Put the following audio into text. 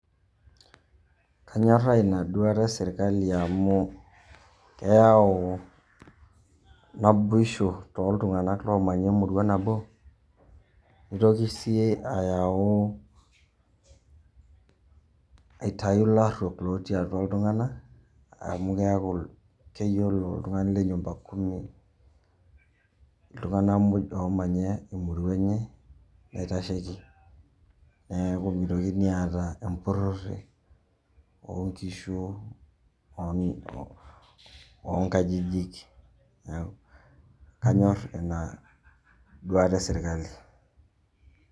Kanyorraa inaduata esirkali amu, keyau naboisho toltung'anak lomanya emurua nabo. Nitoki si ayau, aitau larruok lotii atua iltung'anak, amu keeku keyiolo oltung'ani le nyumba kumi iltung'anak moj omanya emurua enye, naitasheki. Neeku mitokini aata empurrore onkishu onkajijik, kanyor inaduata esirkali.